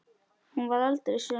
Hún varð aldrei söm.